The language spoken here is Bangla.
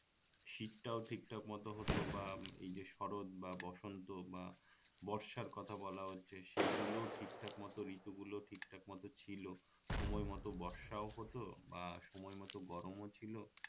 শীতটাও ঠিকঠাক মত হতো বা এই যে শরৎ বা বসন্ত বা বর্ষার কথা বলা হচ্ছে সেই গুলো ঠিকঠাক মত ঋতুগুলোও ঠিকঠাক মত ছিলো সময় মত বর্ষাও হতো বা সময় মত গরম ও ছিলো